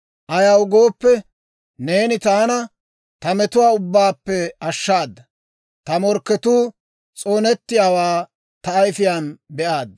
Ayaw gooppe, neeni taana ta metuwaa ubbaappe ashshaadda; Ta morkketuu s'oonettiyaawaa ta ayifiyaan be'aad.